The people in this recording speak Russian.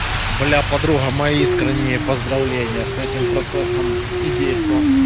бля подруга мои искренние поздравления с этим процессом и действом